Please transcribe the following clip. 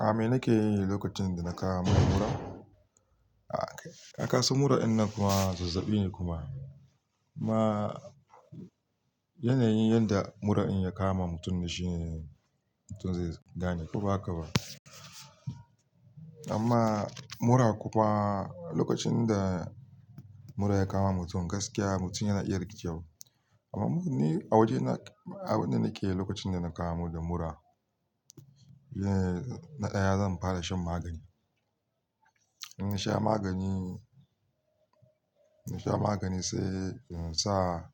A me nake yi lokacin da na kama mura? A kasan mura dinnan fah zazzabi ne kuma. Ma yanayin yadda mura in ya kama mutum na shi mutum zai gane ko ba haka ba. Amma mura kuwa lokacin da mura ya kama mutum gaskiya mutum yana iya rikewar. Amma ni a waje na, abin da nake yi lokacin da na kamu da mura, na ɗaya zan fara shan magani. In sha magani, in sha magani sai in sa